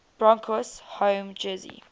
broncos home jersey